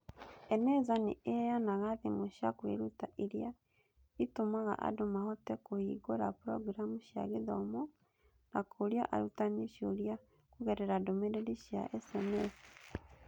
Eneza nĩ ĩheanaga thimũ cia kwĩruta iria itũmaga andũ mahote kũhingũra programu cia gĩthomo na kũũria arutani ciũria kũgerera ndũmĩrĩri cia SMS.